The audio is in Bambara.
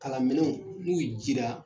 Kalanminɛnw n'u jira